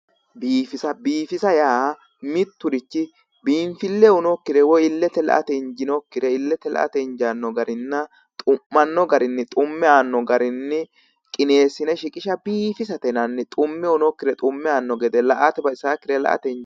Biifisa biifisa yaa mitturichi biinfille uyinokkire woyi illete la'ate injiinokkire illete la'ate injaanno garinna xuanno garinni xumme aanno garinni qineessine shiqisha biifisate yinanni xumme uyinokkire xumme aanno gede la'ate baxisakkire la'ate inja